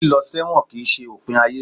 líló sẹwọ́n kí n se ipín ayé